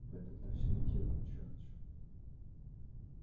в этом-то все и дело джордж